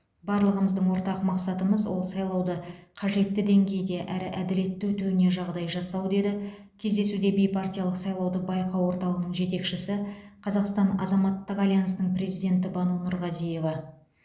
барлығымыздың ортақ мақсатымыз ол сайлауды қажетті деңгейде әрі әділетті өтуіне жағдай жасау деді кездесуде бейпартиялық сайлауды байқау орталығының жетекшісі қазақстан азаматтық альянсының президенті бану нұрғазиева